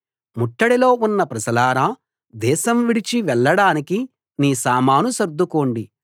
ముట్టడిలో ఉన్న ప్రజలారా దేశం విడిచి వెళ్ళడానికి నీ సామాను సర్దుకోండి